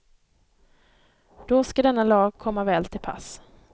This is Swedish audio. Då ska denna lag komma väl till pass.